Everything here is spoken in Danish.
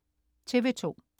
TV2: